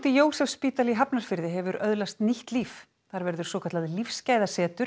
Jósefsspítali í Hafnarfirði hefur nú öðlast nýtt líf þar verður svokallað